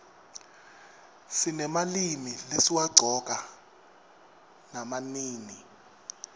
sinemalimi lesiwaqcoka nama nini